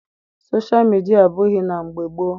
Soshal midia adịbughị na mgbe gboo.